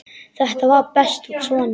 Þetta var best svona.